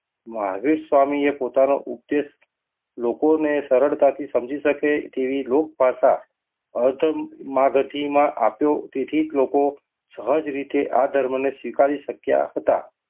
મહાવીર સ્વામી એ પોતાનો ઉપદેશ લોકોને સરળતાથી સમજાવી શકે તેવી લોક ભાષા તેથી લોકો સહજ રીતે આ ધર્મને સ્વીકારી શક્યા હતા.